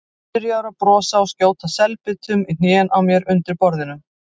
Byrjaður að brosa og skjóta selbitum í hnén á mér undir borðinu.